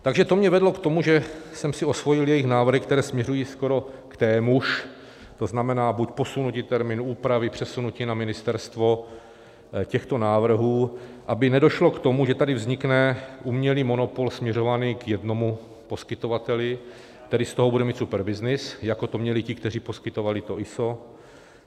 Takže to mě vedlo k tomu, že jsem si osvojil jejich návrhy, které směřují skoro k témuž, to znamená, buď posunutí termínu úpravy, přesunutí na ministerstvo těchto návrhů, aby nedošlo k tomu, že tady vznikne umělý monopol směřovaný k jednomu poskytovateli, který z toho bude mít super byznys, jako to měli ti, kteří poskytovali to ISO.